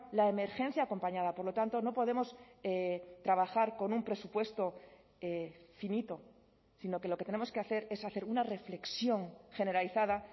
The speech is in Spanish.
la emergencia acompañada por lo tanto no podemos trabajar con un presupuesto finito sino que lo que tenemos que hacer es hacer una reflexión generalizada